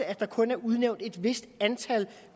at der kun er udnævnt et vist antal